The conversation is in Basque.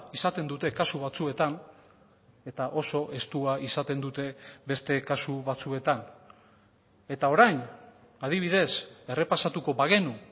izaten dute kasu batzuetan eta oso estua izaten dute beste kasu batzuetan eta orain adibidez errepasatuko bagenu